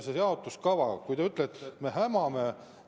Selle jaotuskava kohta te ütlete, et me hämame.